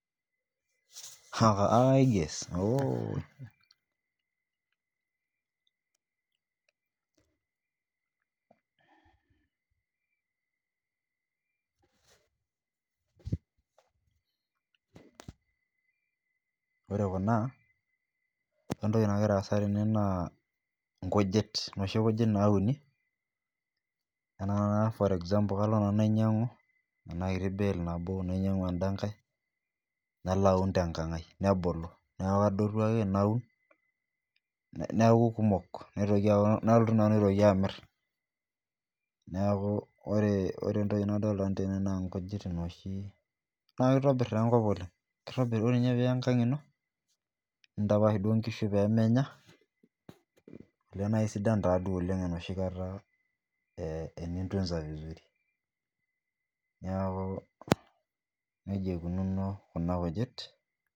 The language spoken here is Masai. gues ore Kuna ore entoki nagira asa tene naa noshi kujit nauni ena example kalo nanu nainyiang'u ena kiti bale nabo nainyiang'u enda nkae nalo aun tenkang ai mebulu neeku kadotu ake naun neeku kumok neitoki aaku nalotu nanu aitoki amir neeku ore entoki nadolita nanu tene naa nkujit noshi naa kitobir taa enkop oleng ore ninye peyie iyas enkang ino nintapash duo nkishu peyie menya olee naa kisidan duo ol ng enoshi kata ee tunza vizuri neeku neijia eikunono Kuna kujit